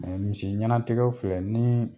misi ɲɛnatigɛw filɛ ni.